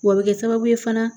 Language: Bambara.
Wɔ bɛ kɛ sababu ye fana